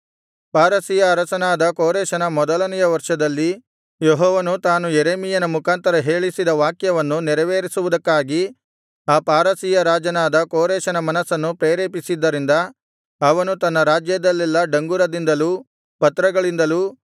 ಪಾರಸಿಯ ಅರಸನಾದ ಕೋರೆಷನ ಮೊದಲನೆಯ ವರ್ಷದಲ್ಲಿ ಯೆಹೋವನು ತಾನು ಯೆರೆಮೀಯನ ಮುಖಾಂತರ ಹೇಳಿಸಿದ ವಾಕ್ಯವನ್ನು ನೆರವೇರಿಸುವುದಕ್ಕಾಗಿ ಆ ಪಾರಸಿಯ ರಾಜನಾದ ಕೋರೆಷನ ಮನಸ್ಸನ್ನು ಪ್ರೇರೇಪಿಸಿದ್ದರಿಂದ ಅವನು ತನ್ನ ರಾಜ್ಯದಲ್ಲೆಲ್ಲಾ ಡಂಗುರದಿಂದಲೂ ಪತ್ರಗಳಿಂದಲೂ